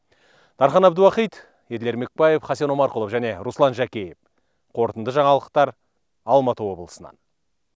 дархан әбдуахит еділ ермекбаев хасен омарқұлов және руслан жакеев қорытынды жаңалықтар алматы облысынан